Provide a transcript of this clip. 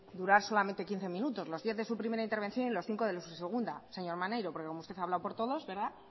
durar solamente quince minutos los diez de su primera intervención y los cinco de la segunda señor maneiro porque como usted ha hablado por todos